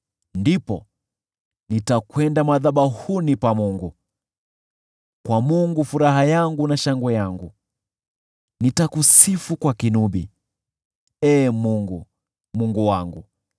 Ndipo nitakwenda madhabahuni pa Mungu, kwa Mungu, furaha yangu na shangwe yangu. Nitakusifu kwa kinubi, Ee Mungu, Mungu wangu.